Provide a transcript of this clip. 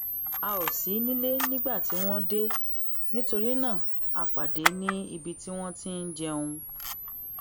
a ò sí nílé nígbà tí wón dé nítorí náà a pàdé ní ibi tí wón ti ń jẹun